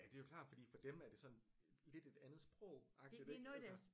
Ja det er jo klart fordi for dem er det sådan lidt et andet sprogagtigt ikke altså